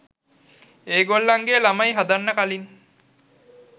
ඒ ගොල්ලන්ගෙ ළමයි හදන්න කලින්